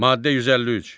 Maddə 153.